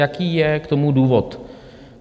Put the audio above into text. Jaký je k tomu důvod?